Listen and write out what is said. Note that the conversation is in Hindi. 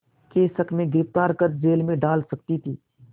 के शक में गिरफ़्तार कर जेल में डाल सकती थी